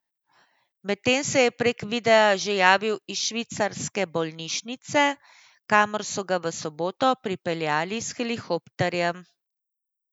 Medtem se je prek videa že javil iz švicarske bolnišnice, kamor so ga v soboto prepeljali s helikopterjem.